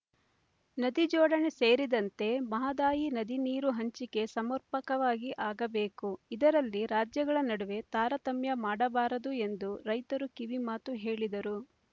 ನದಿ ಜೋಡಣೆ ಸೇರಿದಂತೆ ಮಹದಾಯಿ ನದಿ ನೀರು ಹಂಚಿಕೆ ಸಮರ್ಪಕವಾಗಿ ಆಗಬೇಕು ಇದರಲ್ಲಿ ರಾಜ್ಯಗಳ ನಡುವೆ ತಾರತಮ್ಯ ಮಾಡಬಾರದು ಎಂದು ರೈತರು ಕಿವಿ ಮಾತು ಹೇಳಿದರು